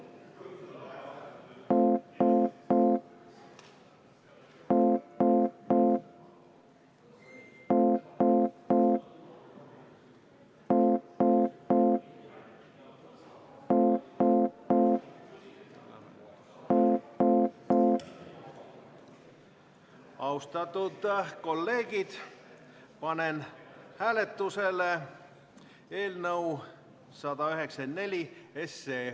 Austatud kolleegid, panen hääletusele eelnõu 194.